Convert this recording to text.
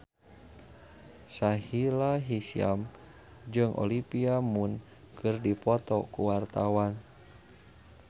Sahila Hisyam jeung Olivia Munn keur dipoto ku wartawan